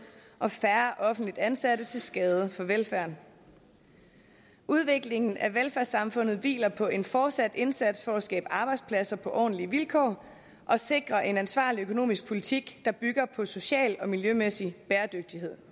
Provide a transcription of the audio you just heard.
og færre offentligt ansatte til skade for velfærden udviklingen af velfærdssamfundet hviler på en fortsat indsats for at skabe arbejdspladser på ordentlige vilkår og sikre en ansvarlig økonomisk politik der bygger på social og miljømæssig bæredygtighed